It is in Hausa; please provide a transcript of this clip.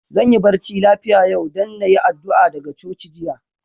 Zan yi barci lafia yau, dan na yi addu'a daga coci jiya.